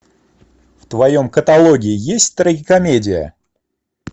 в твоем каталоге есть трагикомедия